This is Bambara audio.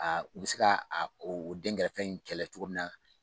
U bɛ se ka o dɛnkɛrɛfɛ in kɛlɛ cogo min na